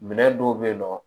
Minɛn dɔw bɛ yen nɔ